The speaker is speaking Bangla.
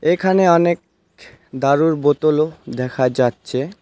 এখানে অনেখ দারুর বোতলও দেখা যাচ্ছে।